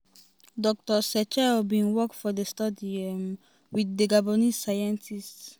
dr setchell bin work for di study um wit di gabonese scientists. um